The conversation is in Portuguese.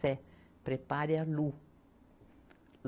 Cé, prepare a Lu.